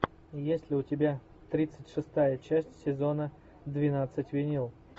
есть ли у тебя тридцать шестая часть сезона двенадцать винил